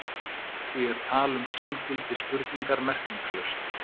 Því er tal um sanngildi spurningar merkingarlaust.